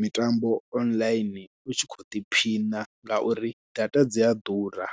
mitambo online u tshi khou ḓiphina ngauri data dzi a ḓura.